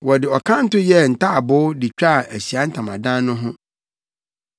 Wɔde ɔkanto yɛɛ ntaaboo de twaa Ahyiae Ntamadan no ho.